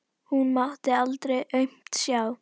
Hún mátti aldrei aumt sjá.